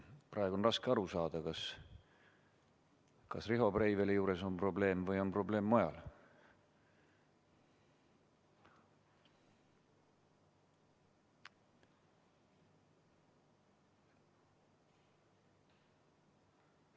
Praegu on raske aru saada, kas Riho Breiveli juures on probleem või on probleem mujal.